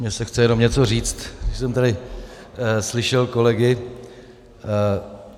Mně se chce jenom něco říct, když jsem tady slyšel kolegy.